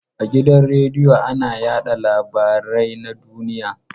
A gidan radiyo ana yaɗa labarai na duniya.